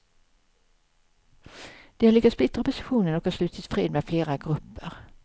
Den har lyckats splittra oppositionen och har slutit fred med flera grupper.